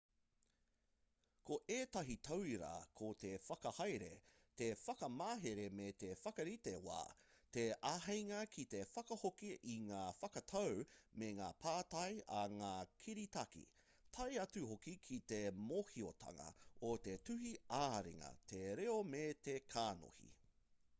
ko ētahi tauira ko te whakahaere te whakamahere me te whakarite wā te āheinga ki te whakahoki i ngā whakatau me ngā pātai a ngā kiritaki tae atu hoki ki te mōhiotanga o te tuhi ā-ringa te reo me te kanohi